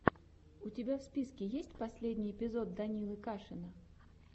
у тебя в списке есть последний эпизод данилы кашина